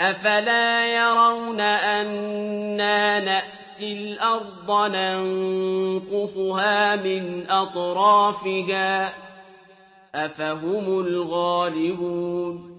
أَفَلَا يَرَوْنَ أَنَّا نَأْتِي الْأَرْضَ نَنقُصُهَا مِنْ أَطْرَافِهَا ۚ أَفَهُمُ الْغَالِبُونَ